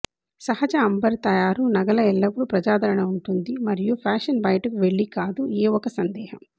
సహజ అంబర్ తయారు నగల ఎల్లప్పుడూ ప్రజాదరణ ఉంటుంది మరియు ఫ్యాషన్ బయటకు వెళ్ళి కాదు ఏ ఒక సందేహం